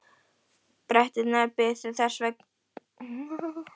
Bretarnir biðu þess sem verða vildi.